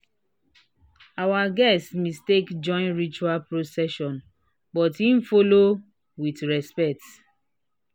our guest mistake join ritual procession but e follow with respect."